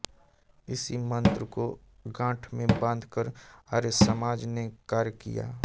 इसी मन्त्र को गाँठ में बाँध कर आर्यसमाज ने कार्य किया